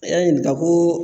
I y'a ɲininka ko